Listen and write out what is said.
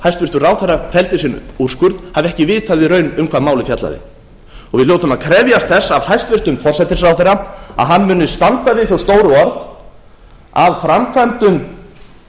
hæstvirtur ráðherra felldi sinn úrskurð hafi ekki vitað í raun um hvað málið fjallaði við hljótum að krefjast þess af hæstvirtum forsætisráðherra að hann muni standa við þau stóru orð að framkvæmdum